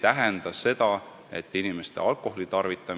Nüüd on aeg nii kaugel, et Aivar Sõerd jõuaks küsida, aga minister ei jõuaks vastata.